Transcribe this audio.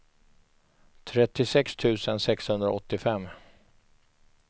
trettiosex tusen sexhundraåttiofem